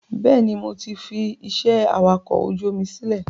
Bẹ́ẹ̀ni, mo ti fi ìṣe awakọ̀ ojú omi sílẹ̀